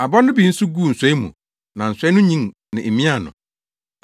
Aba no bi nso guu nsɔe mu, na nsɔe no nyin no emiaa no.